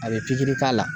A bɛ k'a la